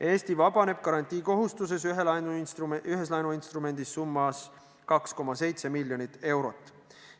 Eesti vabaneb garantiikohustusest ühes laenuinstrumendis summas 2,7 miljonit eurot.